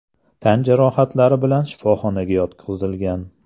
tan jarohatlari bilan shifoxonaga yotqizilgan.